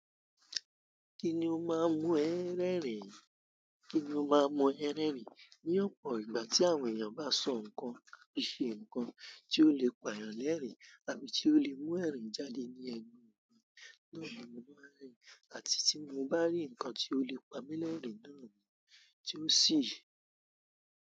Kíni ó máa ń mú ẹ́ rẹ́rìn-ín? Kíni ó máa ń mú ẹ́ rẹ́rìn-ín? Ní ọ̀pọ̀ ìgbà tí àwọn èèyàn bá sọ nǹkan, bí i ṣe nǹkan tí ó lè pa èèyàn lẹ́rìn-ín, tàbí tí ó lè mú ẹ̀rín jáde ní ẹnu ẹni náà ni mo máa ń rìn, àti tí mo bá rí ǹkan tí ó lè pa mí lẹ́rìn-ín náà ni tí ó sì.